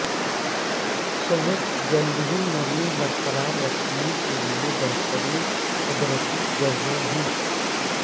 شہد جلد کی نرمی برقرار رکھنے کے لیے بہترین قدرتی جزو ہے